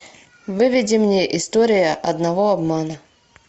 выведи мне история одного обмана